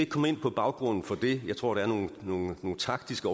komme ind på baggrunden for det jeg tror der er nogle taktiske